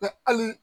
hali